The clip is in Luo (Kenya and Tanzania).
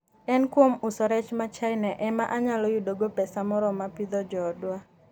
“En kuom uso rech ma China ema anyalo yudogo pesa moromo pidho joodwa.”